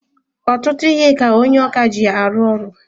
Ọtụtụ ihe ka onye ọkà ji arụ ọrụ.